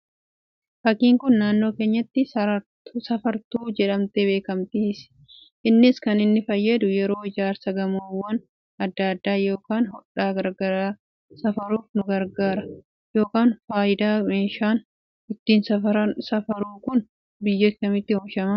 Fakkiin Kun, naannoo keenyatti safartuu jedhamtee beekamti. Innis kan inni fayyadu, yeroo ijaarsa gamoowwan addaa addaa yookaan hodhaa garaagaraa safaruuf nu garaagara yookaan fayyada. Meeshaan ittiin safara safarru Kun, biyya kamitti oomishame?